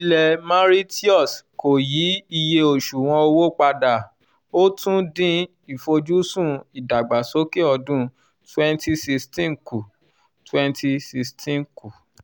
ilẹ̀ mauritius kò yí iye osuwon owó padà ó tún dín ìfojúsùn ìdàgbàsókè ọdún twenty sixteen kù twenty sixteen kù